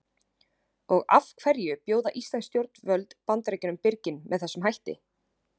Og af hverju bjóða íslensk stjórnvöld Bandaríkjunum birginn með þessum hætti?